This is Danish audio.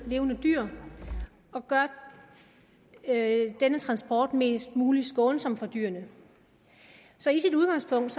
levende dyr og gøre denne transport mest mulig skånsom for dyrene så i sit udgangspunkt